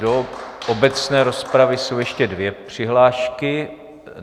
Do obecné rozpravy jsou ještě dvě přihlášky.